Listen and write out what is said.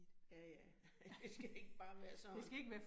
Ja ja, det skal ikke bare være sådan